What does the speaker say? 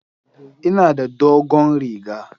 Ina da dogon riga.